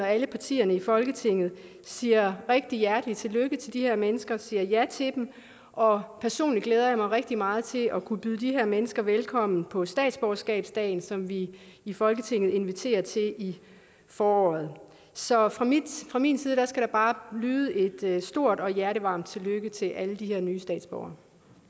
at alle partierne i folketinget siger rigtig hjertelig tillykke til de her mennesker og siger ja til dem og personligt glæder jeg mig rigtig meget til at kunne byde de her mennesker velkommen på statsborgerskabsdagen som vi i folketinget inviterer til i foråret så fra min fra min side skal der bare lyde et stort og hjertevarmt tillykke til alle de her nye statsborgere